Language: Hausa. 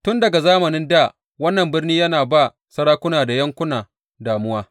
Tun daga zamanin dā wannan birnin yana ba sarakuna da yankuna damuwa.